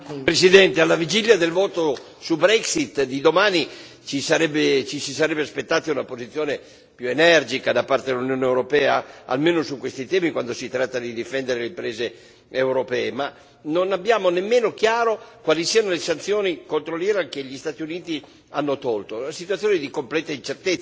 Signora Presidente, onorevoli colleghi, alla vigilia del voto su Brexit di domani ci si sarebbe aspettati una posizione più energica da parte dell'Unione europea, almeno su questi temi, quando si tratta di difendere le imprese europee, ma non abbiamo nemmeno chiaro quali siano le sanzioni contro l'Iran che gli Stati Uniti hanno tolto.